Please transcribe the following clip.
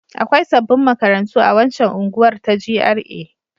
Akwai sabbin makarantu a waccan unguwar ta GRA.